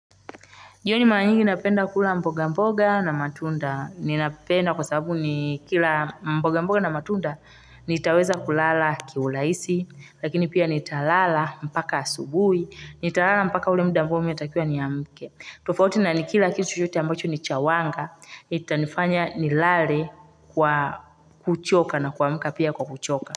Yaani mara nyingi napenda kula mboga mboga na matunda. Ninapenda kwa sababu nikila mboga mboga na matunda nitaweza kulala kiurahisi, lakini pia nitalala mpaka asubuhi, nitalala mpaka ule muda ambao mimi natakiwa niamke. Tofauti na nikila kitu chochote ambacho ni cha wanga, itanifanya nilale kwa kuchoka na kuamka pia kwa kuchoka.